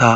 ta